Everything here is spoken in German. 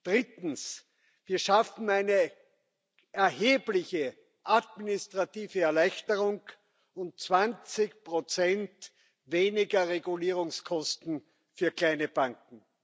Drittens Wir schaffen eine erhebliche administrative Erleichterung und 20 weniger Regulierungskosten für kleine Banken.